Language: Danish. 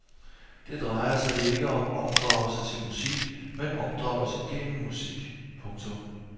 Det drejer sig ikke om opdragelse til musik men opdragelse gennem musik. punktum